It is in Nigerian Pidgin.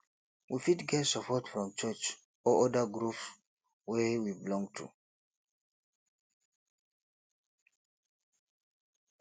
we fit get support from church or oda groups wey we belong to